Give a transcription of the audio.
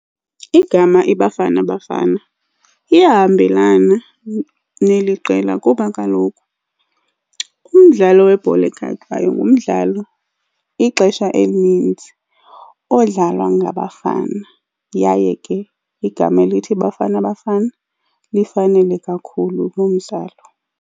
Igama iBafana Bafana liyahambelana neli qela kuba kaloku umdlalo webhola ekhatywayo ngumdlalo ixesha elininzi odlalwa ngabafana. Yaye ke igama elithi Bafana Bafana lifanele kakhulu loo mdlalo.